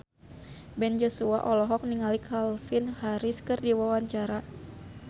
Ben Joshua olohok ningali Calvin Harris keur diwawancara